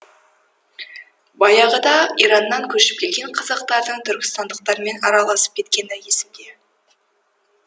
баяғыда ираннан көшіп келген қазақтартың түркістандықтармен араласып кеткені есімде